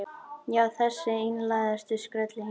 Já, þessi einlægustu skröll í heimi.